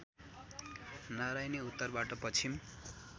नरायणी उत्तरबाट पश्चिम